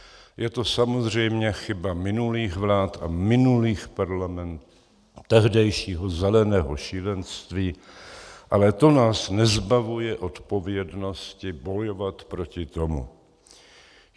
Je to samozřejmě chyba minulých vlád a minulých parlamentů, tehdejšího zeleného šílenství, ale to nás nezbavuje odpovědnosti bojovat proti tomu.